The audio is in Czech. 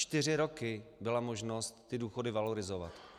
Čtyři roky byla možnost ty důchody valorizovat.